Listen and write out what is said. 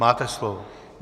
Máte slovo.